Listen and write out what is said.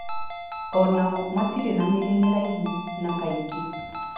O nao matirĩ na mĩri mĩraihu na kaingĩ